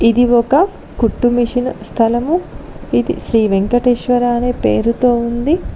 ఇది ఒక కుట్టు మిషన్ స్థలము ఇది శ్రీ వెంకటేశ్వర అనే పేరుతో ఉంది.